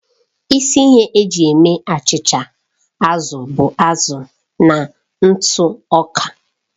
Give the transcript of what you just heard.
Isi ihe eji eme achịcha azụ bụ azụ na ntụ ọka.